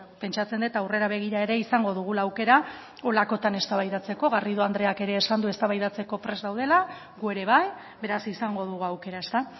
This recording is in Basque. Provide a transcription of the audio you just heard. pentsatzen dut aurrera begira ere izango dugula aukera horrelakoetan eztabaidatzeko garrido andreak ere esan du eztabaidatzeko prest daudela gu ere bai beraz izango dugu aukera ezta